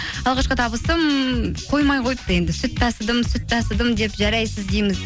алғашқы табысым қоймай қойыпты енді сүт тасыдым сүт тасыдым деп жарайсыз дейміз